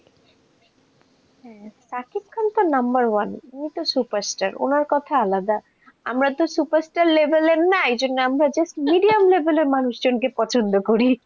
হ্যাঁ শাকিব খান তো number one, ওতো superstar ওনার কথা আলাদা, আমরাতো superstar label এর না, এইজন্য আমরা just এর medium label এর মানুষজনকে পছন্দ করি.